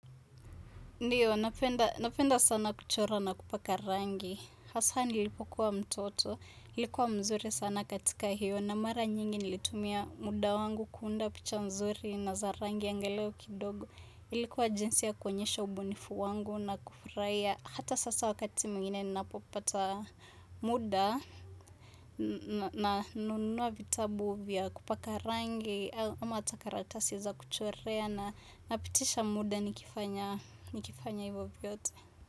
Ndiyo, napenda sana kuchora na kupaka rangi. Hasa nilipokuwa mtoto, likuwa mzuri sana katika hiyo. Na mara nyingi nilitumia muda wangu kuunda picha mzuri na za rangi angalau kidogo. Ilikuwa jinsi ya kuenyesha ubunifu wangu na kufurahia. Hata sasa wakati mwingine ninapopata muda nanunua vitabu vya kupaka rangi. Ama hata karatasi za kuchorea na napitisha muda nikifanya hivyo vyote.